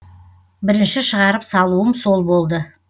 бірінші шығарып салуым сол болды